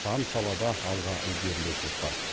сан салада алға ілгерлеушілік бар